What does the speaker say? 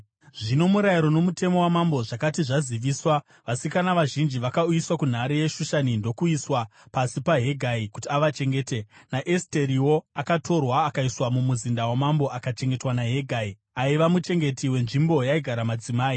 Zvino murayiro nomutemo wamambo zvakati zvaziviswa, vasikana vazhinji vakauyiswa kunhare yeShushani ndokuiswa pasi paHegai kuti avachengete. NaEsteriwo akatorwa akaiswa mumuzinda wamambo akachengetwa naHegai, aiva muchengeti wenzvimbo yaigara madzimai.